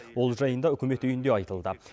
ол жайында үкімет үйінде айтылды